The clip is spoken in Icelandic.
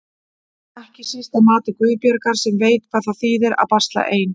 Ekki síst að mati Guðbjargar sem veit hvað það þýðir að basla ein.